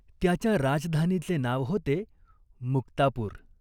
त्याच्या राजधानीचे नाव होते मुक्तापूर.